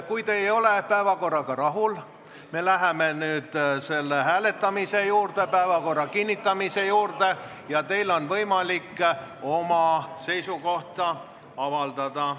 Kui te ei ole päevakorraga rahul – me läheme nüüd selle hääletamise, päevakorra kinnitamise juurde –, siis on teil võimalik hääletamisel oma seisukoht avaldada.